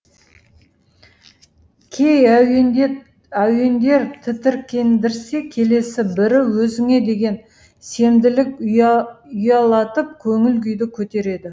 кей әуендер тітіркендірсе келесі бірі өзіңе деген сенімділік ұялатып көңіл күйді көтереді